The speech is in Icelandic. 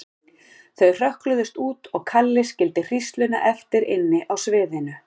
Þau hrökkluðust út og Kalli skildi hrísluna eftir inni á sviðinu.